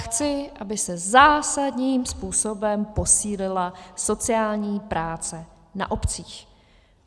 Chci, aby se zásadním způsobem posílila sociální práce na obcích.